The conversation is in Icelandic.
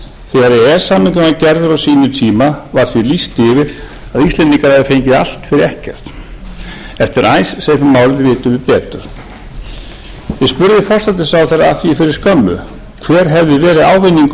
s samningurinn var gerður á sínum tíma var því lýst yfir að íslendingar hefðu fengið allt fyrir ekkert eftir icesave málið vitum við betur við spurðum forsætisráðherra að því fyrir skömmu hver hefði verið ávinningur